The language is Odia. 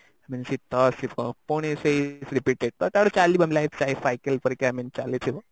ଶୀତ ଆସିବ ପୁଣି ସେଇ ତ ପରେ ଚାଲିବ life cycle ପରିକା ଏମିତି ଚାଲିଥିବ